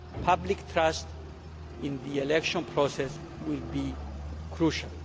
Public trust in the election process will be crucial.